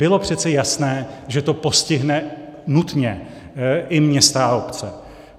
Bylo přece jasné, že to postihne nutně i města a obce.